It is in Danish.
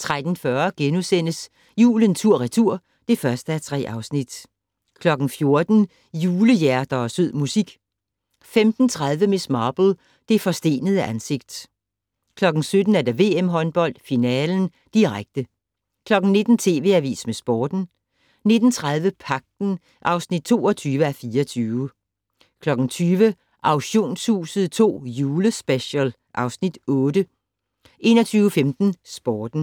13:40: Julen tur/retur (1:3)* 14:00: Julehjerter og sød musik 15:30: Miss Marple: Det forstenede ansigt 17:00: VM håndbold: finale, direkte 19:00: TV Avisen med Sporten 19:30: Pagten (22:24) 20:00: Auktionshuset II Julespecial (Afs. 8) 21:15: Sporten